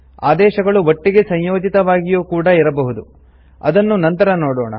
ಆದೇಶಗಳು ಒಟ್ಟಿಗೆ ಸಂಯೋಜಿತವಾಗಿಯೂ ಕೂಡಾ ಇರಬಹುದು ಅದನ್ನು ನಂತರ ನೋಡೋಣ